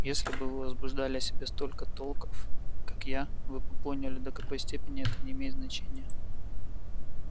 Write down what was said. если бы вы возбуждали о себе столько толков как я вы бы поняли до какой степени это не имеет значения